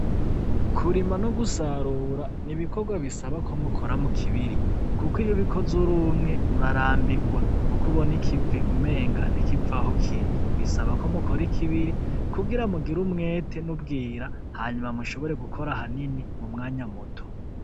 Kurima no gusarura n'ibikorwa bisaba ko mukora mu kibiri kuko iyo ubikoze urumwe ura rambirwa Kuko Ubona umengo ikivi ntikiva Aho kiri bisaba ko mukora ikibiri kugira mugire umwete n'ubwira hanyuma mushobore gukora hanini m'umwanya muto.